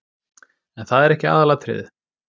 En það er ekki aðalatriðið.